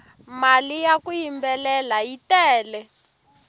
mali ya ku yimbelela yi tele